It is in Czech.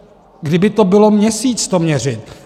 Kdyby to bylo měsíc, to měřit.